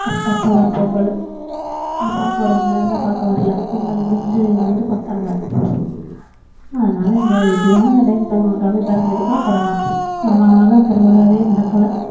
correct டா அப்போதான் பொங்கலு என்ன பார்க்க வரவங்க எல்லாருமே என்ன பார்க்க வரல பொங்கல் முடிஞ்சி வந்து பார்த்தாங்க அதனால இந்த எப்படியாவது இந்த time போகணும் தம்பி பிறந்ததுக்கு அப்பறோம் கொரோனா கொரோனானால திருவிழாவே நடக்கல